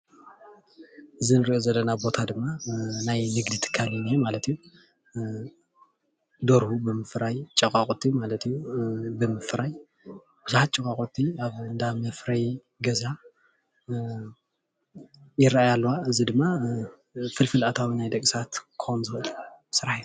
እዚ እንሪኦ ዘለና ቦታ ድማ ናይ ንግዲትካል እዩ፡፡ ደርሁ ብምፍራይ ጨቄቁት ብምፍራይ ቡዙሓት ጨቃቁቲ ናብ እንዳምፍራይ ገዛ ይራኣያ ኣለዋ ፡፡ እዚ ድማ ፍልፍል ኣታዊ ናይ ደቂ ሰባት ክኮን ዝክእል ስራሕ እዩ፡፡